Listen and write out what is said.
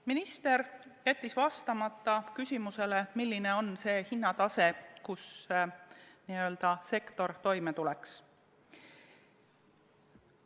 Minister jättis vastamata küsimusele, milline on see hinnatase, mille puhul sektor toime tuleks.